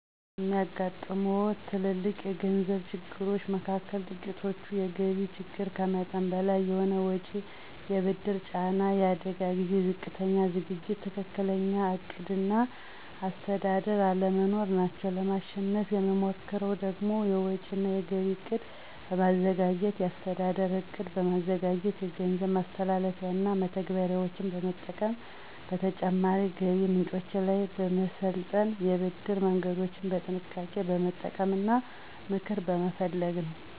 የሚያጋጥሙዎት ትልልቅ የገንዘብ ችግሮች መካከል ጥቂቶቹ፤ የገቢ ችግር፣ ከመጠን በላይ የሆነ ወጪ፣ የብድር ጫና፣ የአደጋ ጊዜ ዝቅተኛ ዝግጅት፣ ትክክለኛ ዕቅድ እና አስተዳደር አለመኖር ናቸው። ለማሸነፍ የምሞክረው ደግሞ፤ የወጪ እና የገቢ እቅድ በማዘጋጀት፣ የአስተዳደር ዕቅድ በማዘጋጀት፣ የገንዘብ ማስተላለፊያና መተግበሪያዎችን በመጠቀም፣ በተጨማሪ ገቢ ምንጮች ላይ በመሰልጠን፣ የብድር መንገዶችን በጥንቃቄ በመጠቀም እና ምክር በመፈለግ ነው።